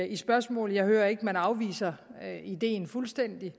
i spørgsmålet jeg hører ikke at man afviser ideen fuldstændig